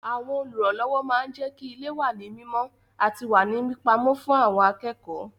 Àwọn Olùrànlọ́wọ́ máa ń jẹ́kí ilé wà ní mímọ àti wà ní pípa ọ́ fún àwọn akẹ́kọ̀ọ́